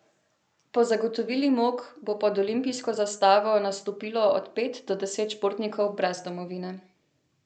Po zagotovili Mok bo pod olimpijsko zastavo nastopilo od pet do deset športnikov brez domovine.